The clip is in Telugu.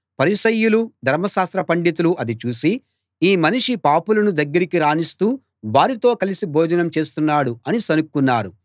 పరిసయ్యులూ ధర్మశాస్త్ర పండితులూ అది చూసి ఈ మనిషి పాపులను దగ్గరికి రానిస్తూ వారితో కలసి భోజనం చేస్తున్నాడు అని సణుక్కున్నారు